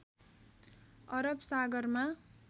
अरब सागरमा